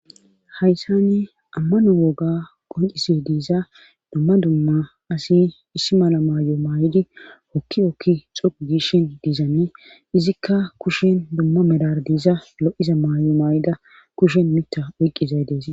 hayssani ammano woga qoncise diiza dumma dumma asi issi mala maay7o maay7idi hokki okki xoqu gishin diizane izikka kushen dumma medar diiza lo7iza maay7o maay7ida kushen mita oyqqizay dees